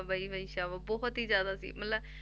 ਵਈ ਵਈ ਸਾਵਾ ਬਹੁਤ ਹੀ ਜ਼ਿਆਦਾ ਸੀ ਮਤਲਬ